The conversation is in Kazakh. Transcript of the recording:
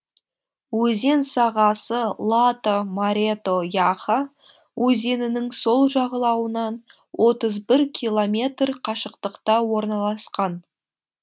өзен сағасы лата марето яха өзенінің сол жағалауынан отыз бір километр қашықтықта орналасқан